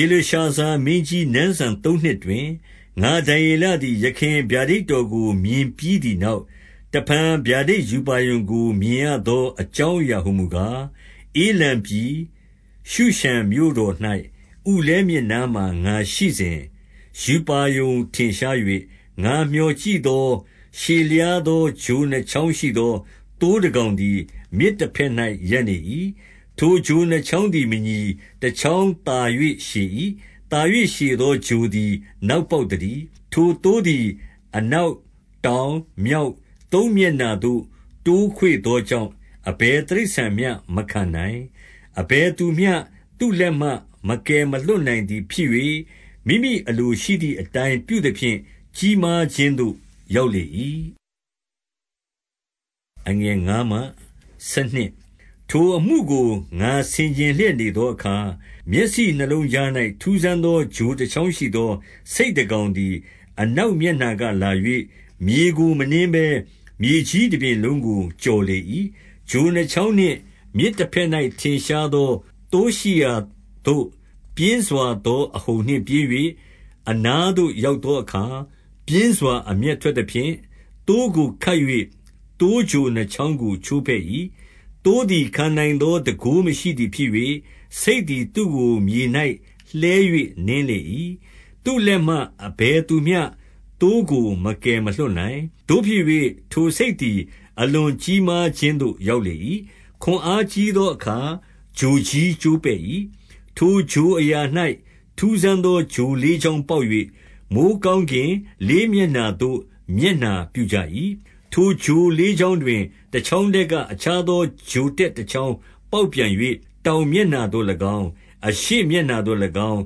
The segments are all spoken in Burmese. ေလရှာဇာမင်းကြီးနန်းစံ သုံးနှစ်တွင်၊ ငါ ဒံယေလသည် ယခင် ဗျာဒိတ်တော်ကို မြင်ပြီးသည်နောက်၊ တဖန် ဗျာဒိတ်ရူပါရုံကို မြင်ရသောအကြောင်းအရာဟူ မူကား၊ 2 ဧလံပြည်၊ ရူရှန်မြို့တော်၌ ဥလဲမြစ်နားမှာ ငါရှိ စဉ်၊ ရူပါရုံထင်ရှား၍၊ 3 ငါမျှော်ကြည့်သော၊ ရှည်လျားသော ချို နှစ်ချောင်းရှိသော သိုးတကောင်သည် မြစ်တဘက်၌ ရပ် နေ၏။ ထိုချိုနှစ်ချောင်းသည်မညီ၊ တချောင်းသာ၍ ရှည်၏။ သာ၍ ရှည်သောချိုသည် နောက်ပေါက် သတည်း။ 4 ထိုသိုးသည် အနောက်၊ တောင်၊ မြောက်၊ သုံး မျက်နှာသို့ တိုးခွေ့သောကြောင့် အဘယ်တိရစ္ဆာန်မျှ မခံနိုင်၊ အဘယ်သူမျှ သူ့လက်မှတ်မကယ်မလွှတ်နိုင်သည် ဖြစ်၍ မိမိအလိုရှိသည့်အတိုင်း ပြုသဖြင့် ကြီးမားခြင်းသို့ ရောက်လာ၏။ 5 ထိုအမှုကို ငါဆင်ခြင်လျက်နေသောအခါ၊ မျက်စိ နှစ်လုံးကြား၌ ထူးဆန်းသော ချိုတချောင်းရှိသော ဆိတ် တကောင်သည် အနောက်မျက်နှာကလာ၍၊ မြေကို မနင်းဘဲ မြေကြီးတပြင်လုံးကို ကျော်လေ၏။ 6 ချိုနှစ်ချောင်းနှင့်မြစ်တဘက်၌ ထင်ရှားသော သိုးရှိရာသို့ ပြင်းစွာသော အဟုန်နှင့်ပြေး၍ 7 အနားသို့ ရောက်သောအခါ၊ ပြင်းစွာ အမျက် ထွက်သဖြင့် သိုးကို ခတ်၍ သိုးချိုနှစ်ချောင်းကို ချိုးဖဲ့၏။ သိုးသည်ခံနိုင်သော တန်ခိုးမရှိသည် ဖြစ်၍ ဆိတ်သည် သူ့ကိုမြေ၌ လှဲ၍နင်းလေ၏။ သူ့လက်မှ အဘယ်သူမျှ သိုးကို မကယ်မလွှတ်နိုင်။ 8 သို့ဖြစ်၍၊ ထိုဆိတ်သည် အလွန်ကြီးမားခြင်းသို့ ရောက်လေ၏။ ခွန်အားကြီးသောအခါ ချိုကြီးကျိုးပဲ့၏။ ထိုချိုအရာ၌ ထူးဆန်းသော ချိုလေးချောင်းပေါက်၍၊ မိုဃ်းကောင်းကင်လေးမျက်နှာသို့ မျက်နှာပြုကြ၏။ 9 ထိုချိုလေးချောင်းတွင် တချောင်းထဲက အခြား သောချိုတက်တ ချောင်းပေါက်ပြန်၍ တောင်မျက်နှာသို့၎င်း၊ အရှေ့မျက်နှာသို့၎င်း၊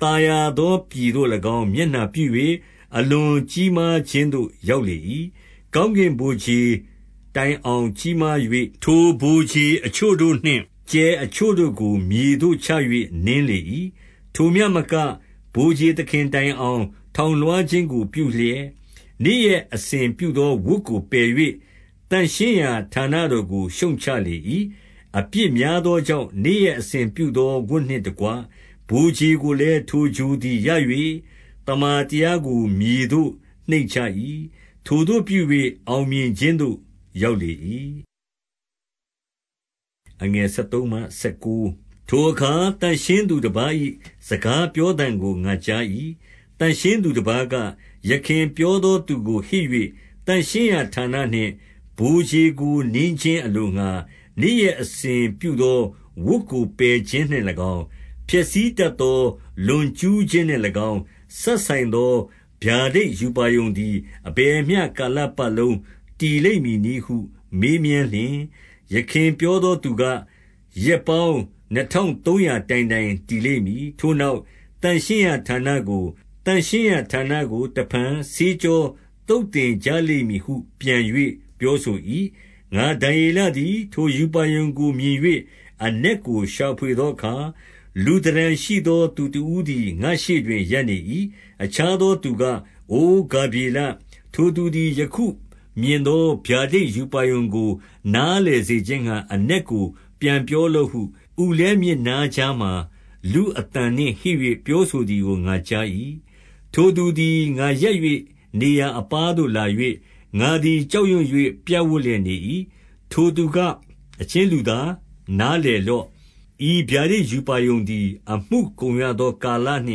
သာယာသော ပြည်သို့၎င်း မျက်နှာပြု၍၊ အလွန်ကြီးမားခြင်းသို့ ရောက်လေ၏။ 10 ကောင်းကင်ဗိုလ်ခြေတိုင်အောင်ကြီးမား၍၊ ထိုဗိုလ်ခြေအချို့တို့နှင့် ကြယ်အချို့တို့ကို မြေသို့ချ၍ နင်းလေ၏။ 11 ထိုမျှမက၊ ဗိုလ်ခြေသခင်တိုင်အောင် ထောင် လွှားခြင်းကို ပြုလျက်၊ နေ့ရက်အစဉ်ပြုသော ဝတ်ကိုပယ်၍၊ သန့်ရှင်းရာဌာနတော်ကို ရှုတ်ချလေ၏။ 12 အပြစ်များသောကြောင့် နေ့ရက်အစဉ်ပြုသော ဝတ်နှင့်တကွ ဗိုလ်ခြေကိုလည်း ထိုချိုသည်ရ၍ သမ္မာ တရားကို မြေသို့နှိမ့်ချ၏။ ထိုသို့ပြု၍ အောင်မြင်ခြင်းသို့ ရောက်လေ၏။ 13 ထိုအခါ သန့်ရှင်းသူတပါး၏ စကားပြောသံကို ငါကြား၏။ သန့်ရှင်းသူတပါးက၊ ယခင်ပြောသော သူကို ဟစ်၍၊ သန့်ရှင်းရာဌာနနှင့် ဗိုလ်ခြေကိုနင်းခြင်း အလိုငှာ နေ့ရက်အစဉ်ပြုသောဝတ်ကို ပယ်ခြင်းနှင့်၎င်း၊ ဖျက်ဆီးတတ်သော လွန်ကျူးခြင်းနှင့်၎င်း စပ်ဆိုင်သော ဗျာဒိတ်ရူပါရုံသည်အဘယ်မျှ ကာလပတ်လုံး တည်လိမ့် မည်နည်းဟုမေးမြန်းလျှင်၊ 14 ယခင်ပြောသူက ရက်ပေါင်းနှစ်ထောင်သုံးရာ တိုင်တိုင် တည်လိမ့်မည်။ ထိုနောက် သန့်ရှင်းရာဌာနကို တဖန်ဆေးကြောသုတ်သင်ကြလိမ့် မည်ဟုပြန်၍ ပြောဆို ၏။ 15 ငါဒံယေလသည် ထိုရူပါရုံကို မြင်၍ အနက်ကို ရှာဖွေသောအခါ၊ လူသဏ္ဌာန်ရှိသောသူတဦးသည် ငါ့ရှေ့တွင် ရပ်နေ၏။ 16 အခြားသော သူက၊ အိုဂါဗြေလ၊ ထိုသူသည် ယခု မြင်သော ဗျာဒိတ်ရူပါရုံကို နားလည်စေခြင်းငှါ အနက်ကို ပြန်ပောလော့ဟု၊ ဥလဲ မြစ်နားကြားမှာ လူအသံနှင့်ဟစ်၍ ပြောဆိုသည်ကို ငါကြား၏။ 17 ထိုသူသည် ငါရပ်နေရာအပါးသို့လာလျှင်၊ ငါသည် ကြောက်ရွံ့၍ ပြပ်ဝပ်လျက်နေ၏။ ထိုသူက၊ အချင်းလူသား၊ နားလည်လော့။ ဤဗျာဒိတ် ရူပါရုံသည် အမှုကုန် ရသောကာလနှ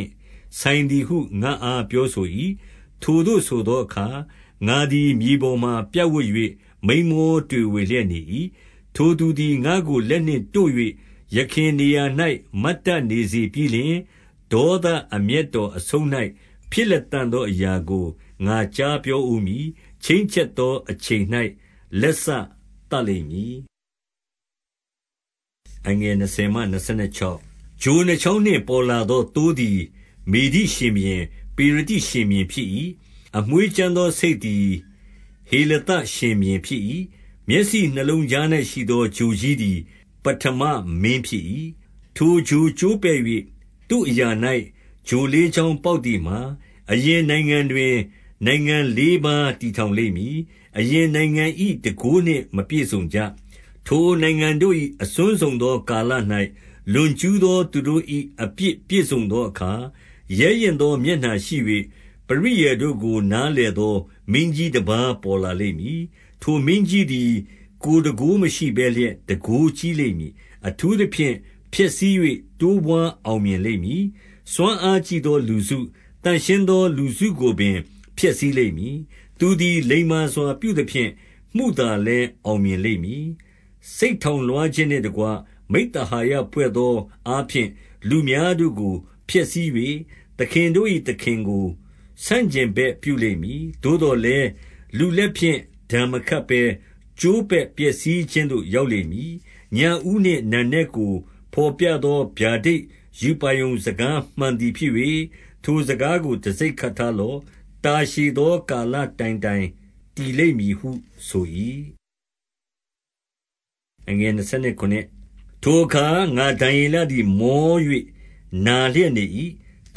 င့်ဆိုင်သည်ဟု ငါ့အား ပြောဆို ၏။ 18 ထိုသို့ ဆိုသောအခါ ငါသည် မြေပေါ်မှာပြပ်ဝပ်၍ မိန်းမော တွေဝေလျက်နေ၏။ ထိုသူသည်ငါ့ကိုလက်နှင့် တို့၍ ယခင်နေရာ၌ မတ်တတ်နေစေပြီးလျှင်၊ 19 ဒေါသအမျက်တော်အဆုံး၌ ဖြစ်လတံ့သော အရာကိုငါကြား ပြောဦးမည်။ ချိန်းချက်သောအချိန်၌ လက်စသတ်လိမ့်မည်။ 20 ချိုနှစ်ချောင်းနှင့် ပေါ်လာသော သိုးသည် မေဒိ ရှင်ဘုရင်၊ ပေရသိရှင်ဘုရင်ဖြစ်၏။ 21 အမွေးကြမ်းသော ဆိတ်သည် ဟေလသ ရှင်ဘုရင် ဖြစ်၏။ မျက်စိနှစ်လုံးကြား၌ရှိသော ချိုကြီးသည် ပဌမမင်းဖြစ်၏။ 22 ထိုချိုကျိုးပဲ့၍၊ သူ့အရာ၌ ချိုလေးချောင်းပေါက် သည်မှာ အရင်နိုင်ငံတွင် နိုင်ငံလေးပါး ထည်ထောင်လိမ့် မည်။ အရင်နိုင်ငံ၏တန်ခိုးနှင့် မပြည့်စုံကြ။ 23 ထိုနိုင်ငံတို့၏ အဆုံးစွန်သောကာလ၌ လွန်ကျူး သော သူတို့၏ အပြစ်ပြည့်စုံသောအခါ၊ ရဲရင့်သော မျက်နှာရှိ၍ ပရိယာယ်တို့ကို နားလည်သော မင်းကြီး တပါး ပေါ်လာလိမ့်မည်။ 24 ထိုမင်းကြီးသည် ကိုယ်တန်ခိုးမရှိဘဲလျက် တန်ခိုးကြီးလိမ့်မည်။ အထူးသဖြင့် ဖျက်ဆီး၍ တိုးပွား အောင်မြင်လိမ့်မည်။ စွမ်းအားကြီးသော လူစု၊ သန့်ရှင်း သော လူစုကို ပင် ဖျက်ဆီးလိမ့်မည်။ 25 သူသည်လိမ္မာစွာပြုသဖြင့်၊ မုသာလည်း အောင် မြင်လိမ့်မည်။ စိတ်ထောင်လွှားခြင်းနှင့်တကွ မိဿဟာယ ဖွဲ့သောအားဖြင့် လူများတို့ကို ဖျက်ဆီး၍၊ သခင်တို့၏သခင် ကို ဆန့်ကျင်ဘက်ပြုလိမ့်မည်။ သို့သော်လည်း၊ လူလက် ဖြင့် ဒဏ်မခတ်ဘဲ ကျိုးပဲ့ပျက်စီးခြင်းသို့ ရောက်လိမ့်မည်။ 26 ညဦးနှင့် နံနက်ကို တော်ပြသောဗျာဒိတ် ရူပါရုံ စကားမှန်သည် ဖြစ်၍ ထိုစကားကို တံဆိပ်ခက်ထား လော့။ တာရှည်သော ကာလတိုင်တိုင် တည်လိမ့်မည်ဟု ဆို၏။ 27 ထိုအခါ ငါဒံယေလသည် မော၍ နာလျက် နေ၏။ တ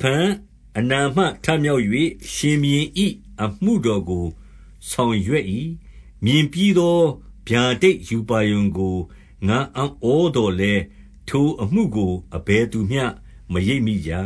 ဖန် အနာမထမြောက်၍ ဘုရင်၏အမှုတော်ကို ဆောင်ရွက်၏။ မြင်ပြီးသော ဗျာဒိတ်ရူပါရုံကို ငါ့အံ့ဩ သော်လည်း ထိုအမှုကို အဘယ်သူမျှ မရိပ်မိကြ။